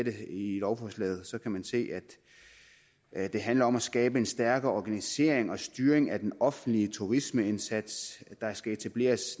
i lovforslaget kan man se at det handler om at skabe en stærkere organisering og styring af den offentlige turismeindsats der skal etableres